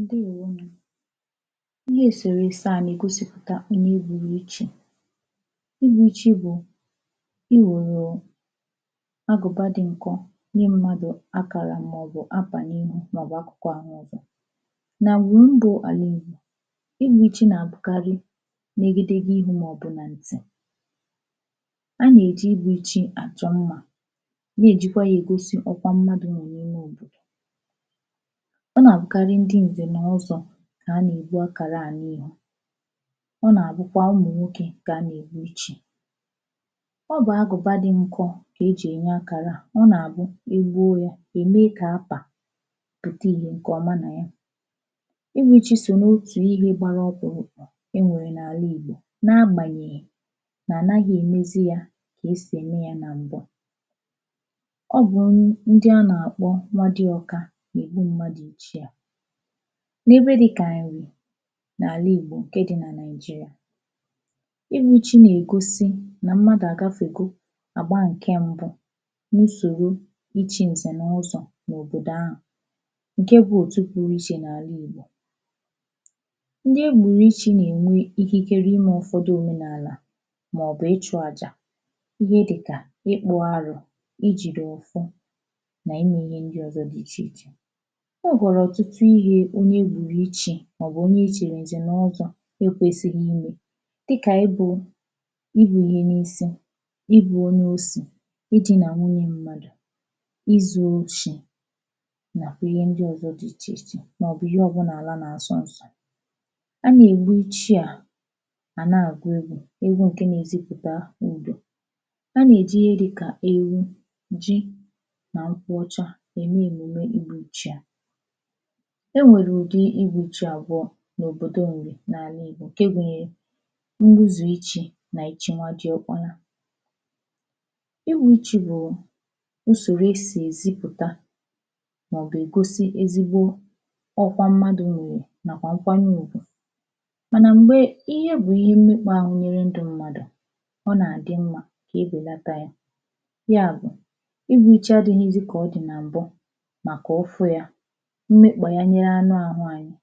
ǹdèwó nù ihe èsèrèsè a nà ègosìpùta ihe e gbụ̀rụ̀ echi igbụ̄ chị bụ̀ ị wòrò agụ̀ba dị nkọ nye mmadù akàrà mà ọ̀ bụ̀ apànye mà ọ̀ bụ̀ akụ̀kụ ahụ ọ̀zọ nà ǹgwùru ndụ̄ àla ìgbò ihūrichi nà àbụkarị negede ihe ihū mà ọ̀ bụ̀ nà ǹtì a nà èji igbuchi àchọ mmā nà èjikwa ya ègosi ọkwa mmadū nọ̀ n’ime òbòdò ọ nà àbụkarị ndị ǹzẹ̀ n’ọzọ̄ kà a nà ègbu àkàrà à n’ihu ọ nà àbụkwa ụmụ̀ nwokē kà a nà ègbu ichī ọ bụ̀ agùba dị nkọ kà e jì ènye akàrà à ọ nà àbụ e gbuo ya è mee kà apà pùta ìhè ǹkè ọma nà ya ihuichi so nà otù ihē gbara ọkpụ̀rụ̀kpụ̀ e nwèrè n’àla ìgbò na agbànyèghì nà ànaghị è mezi ya kà esì ẹ̀mẹ ya nà m̀bụ ọ bụ̀ ndị a nà àkpọ nwadịọka nà ègbu mmadù ichi à n’ebe dịkà n’àla ìgbò ǹkè dị nà Naị̀jịrị̀à ihūchị nà ègosi nà mmadù à gafe go àgba ǹkẹ mbụ n’usòro ịchị̄ ǹzẹ̀ nà ọzọ̄ n’òbòdò ahụ̀ ǹkẹ bụ otu pụrụ ichè n’àla ìgbò ndị e gbùrù ịchị̄ nà ẹ̀nwẹ ikikere ime ụ̀fọdụ òmenàlà mà ọ̀ bụ̀ ichụ̄ àjà ihe dịkà ịkpụ̄ arụ̄ ị jìdè ọ̀fọ nà ime ihe ndị ọzọ dị ichè ichè e nwèkwàrà ọ̀tụtụ ihē onye e gbùrù ịchị̄ mà ọ̀ bụ̀ onye e chìrì ǹzẹ̀ nà ọzọ̄ e kwesighi imẹ̄ dịkà ị bụ̄ ịbụ̄ ihe n’isi ịbụ̄ onye osì ịdị̄nà nwunyē mmadù izū oshī nàkwà ihe ndị ọzọ dị ichè ichè mà ọ̀ bụ̀ ihe ọbụlà àla nà àsọ nsọ̄ a nà ègbu ịchị à à nà àgu egwū egwu ǹke na ezìpụta udo a nà èji ihe dịkà ewu jị nà nkwuọcha ème èmùme igbụ̄ ichị à e nwèrè ụdị igbuchị àbụọ n’òbòdo Ǹrị̀ n’àla ìgbò nke gunyere mgbuzù ịchị̄ nà ị̀chị nwadịọkpọ̄nà igbū ịchị̄ bụ̀ usòrò esì èzipụ̀ta mà ọ̀ bụ̀ ègosi ezigbo ọkwa mmadū nwè nà kwà nkwanye ùgwù mànà m̀gbe ihe bụ ihe mmekpa ahụ n’ime ndụ̄ mmadù ọ nà àdị mmā e bèlata ya yà bụ̀ ịgbu ịchị adịghịzị kà ọ dị̀ nà mbụ màkà ufu ya mmekpànye anụ ahụ̄ anyị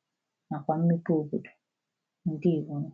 nà kwà mmepe òbòdò ǹdewo nù